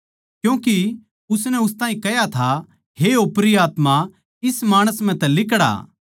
क्यूँके उसनै उस ताहीं कह्या था हे ओपरी आत्मा इस माणस म्ह तै लिकड़ आ